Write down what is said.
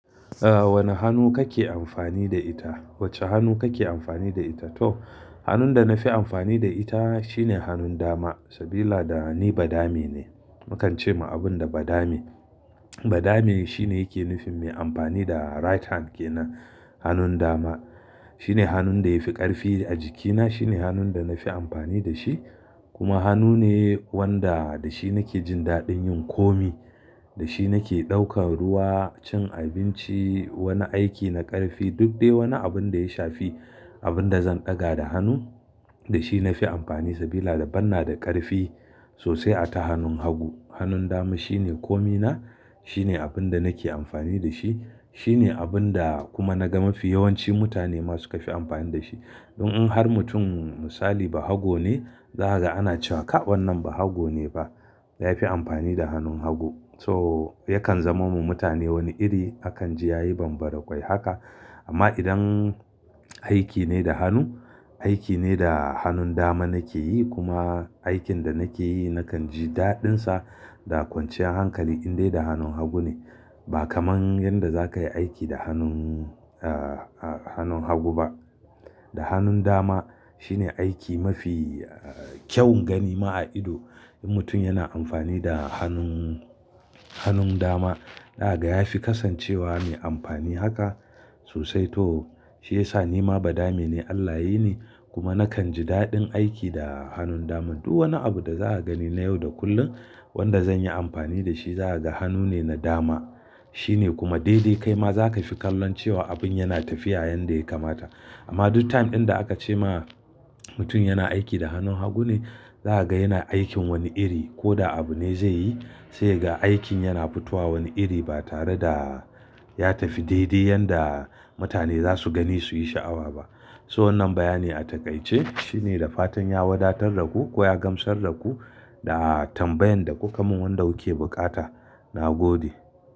A wanne hannu kake amfani da ita? Wacce hannu kake amfani da ita? To hannun da na fi amfani da ita shine hannun dama. Sabila da ni badame ne. Mukan ce ma abun da badame. Badame shine yake nufin me amfani da right hand kenan hannun dama. Shine hannun da yafi ƙarfi a jikina shine hannun da na fi amfani da shi kuma hannu ne wanda da shi nake jin daɗin yin komi. Da shi nake ɗaukan ruwa, cin abinci, wani aiki na ƙarfi duk dai wani abun da ya shafi abun da zan ɗaga da hannu da shi na fi amfani sabila da ban na da ƙarfi sosai ata hannun hagu. Hannun dama shine komina shine abin da nake amfani da shi. Shine abun da kuma na ga mafi yawanci mutane ma suka fi amfani da shi. Don In an har mutum musali ba hago ne, zakaga ana cewa ka wannan ba hago ne ba. Ya fi amfani da hannun hagu. So yakan zamo ma mutane wani iri akan ji yayi banbarakwai haka amma idan aiki ne da hannu, aiki ne da hannun dama nake yi kuma aikin da nake yi nakan ji daɗin sa da kwanciyar hankali in dai da hannun hagu ne. Ba kamar yanda zakayi aiki da hannun, ah ah hannun hagu ba. Da hannun dama shine aiki mafi kyau gani ma a ido. In mutum yana amfani da hannun, hannun dama daga ya fi kasancewa mai amfani haka sosai to shi yasa ni ma badame ne Allah yini kuma nakan ji daɗin aiki da hannun daman. Duk wani abu da zaka gani na yau da kullum wanda zan yi amfani da shi zakaga hannu ne na dama. Shine kuma daidai kai ma zaka fi kallon cewa abun yana tafiya yanda ya kamata. Amma duk time ɗin da aka ce ma mutum yana aiki da hannun hagu ne, zakaga yana aikin wani iri koda abune zai yi sai kagaa aikin yana fitowa wani iri ba tare da ya tafi daidai yanda mutane za su gani su yi sha'awa ba. To wannan bayani a taƙaice shine da fatan ya wadatar daku ko ya gamsar daku da tambayan da kuka mun wanda kuke buƙata. Na gode.